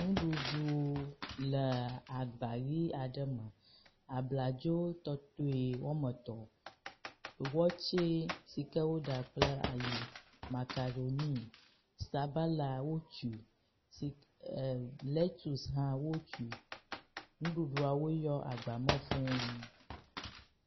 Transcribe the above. Nuɖuɖu le agba ʋi aɖe me, abladzo tɔtɔe wome etɔ̃, wɔtse si ke woɖa kple ayi, makaɖoni, sabala wotsui, lectuse hã wotsui, nuɖuɖuawo yɔ agba me f{{